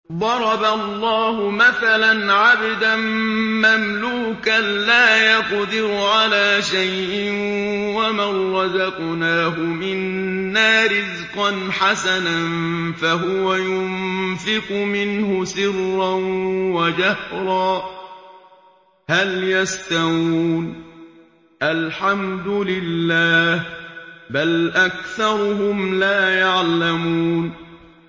۞ ضَرَبَ اللَّهُ مَثَلًا عَبْدًا مَّمْلُوكًا لَّا يَقْدِرُ عَلَىٰ شَيْءٍ وَمَن رَّزَقْنَاهُ مِنَّا رِزْقًا حَسَنًا فَهُوَ يُنفِقُ مِنْهُ سِرًّا وَجَهْرًا ۖ هَلْ يَسْتَوُونَ ۚ الْحَمْدُ لِلَّهِ ۚ بَلْ أَكْثَرُهُمْ لَا يَعْلَمُونَ